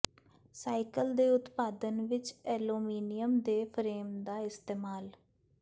cycle ਦੇ ਉਤਪਾਦਨ ਵਿੱਚ ਐਲੂਮੀਨੀਅਮ ਦੇ ਫਰੇਮ ਦਾ ਇਸਤੇਮਾਲ